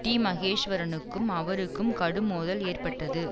டிமகேஷ்வரனுக்கும் அவருக்கும் கடும் மோதல் ஏற்பட்டது